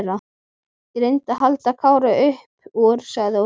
Ég reyndi að halda Kára upp úr, sagði Óskar.